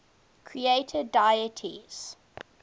creator deities